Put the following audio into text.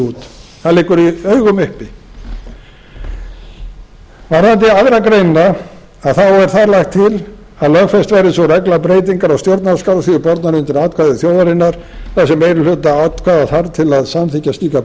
út það liggur i augum uppi varðandi aðra grein þá er þar lagt til að lögfest verði sú regla að breytingar á stjórnarskrá séu bornar undir atkvæði þjóðarinnar þar sem meiri hluta atkvæða þarf til að samþykkja slíkar